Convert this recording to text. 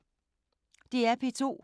DR P2